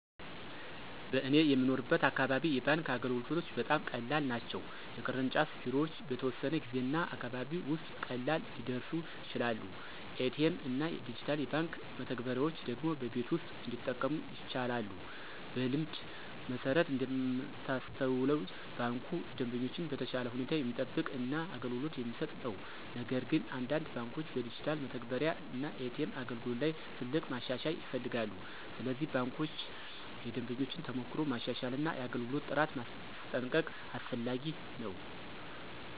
በእኔ የምኖርበት አካባቢ የባንክ አገልግሎቶች በጣም ቀላል ናቸው። የቅርንጫፍ ቢሮዎች በተወሰነ ጊዜ እና አካባቢ ውስጥ ቀላል ሊደርሱ ይችላሉ። ኤ.ቲ.ኤም እና ዲጂታል የባንክ መተግበሪያዎች ደግሞ በቤት ውስጥ እንዲጠቀሙ ይቻላሉ። በልምድ መሠረት እንደምታስተውሉ ባንኩ ደንበኞችን በተሻለ ሁኔታ የሚጠብቅ እና አገልግሎት የሚሰጥ ነው። ነገር ግን አንዳንድ ባንኮች በዲጂታል መተግበሪያ እና ኤ.ቲ.ኤም አገልግሎት ላይ ትልቅ ማሻሻያ ይፈልጋሉ። ስለዚህ ባንኮች የደንበኞችን ተሞክሮ ማሻሻል እና የአገልግሎት ጥራት ማስጠንቀቅ አስፈላጊ ነው።